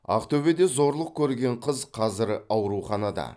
ақтөбеде зорлық көрген қыз қазір ауруханада